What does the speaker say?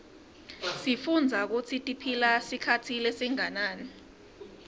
sifuitbza kutsitiphila sikhatsi lesinganani